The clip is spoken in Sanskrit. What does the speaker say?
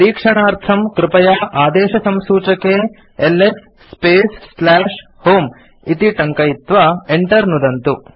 परीक्षणार्थं कृपया आदेशसंसूचके एलएस स्पेस् होमे इति टङ्कयित्वा enter नुदन्तु